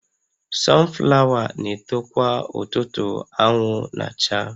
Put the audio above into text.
Sunflower na-eto kwa ụtụtụ anwụ na-acha